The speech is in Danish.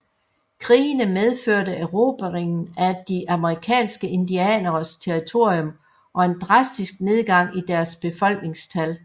Krigene medførte erobringen af de amerikanske indianeres territorium og en drastisk nedgang i deres befolkningstal